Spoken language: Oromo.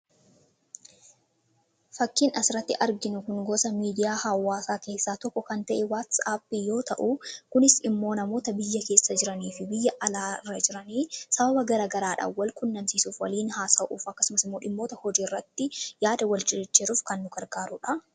fakkiin asirratti arginu kun gosa miidiyaa hawaasaa keessaa tokko kan ta'ee waatis aappi yoo ta'u kunis immoo namoota biyya keessa jiranii fi biyya alaarra jiranii sababa gara garaadha wal qunnamsiisuuf waliin haasa'uuf akkasumas immoo dhimmoota hojii irratti yaada wal jijjiiruuf kan nu gargaaruudha.